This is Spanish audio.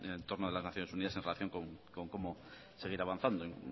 en el entorno de las naciones unidas en relación con cómo seguir avanzando el